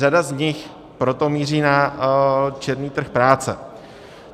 Řada z nich proto míří na černý trh práce.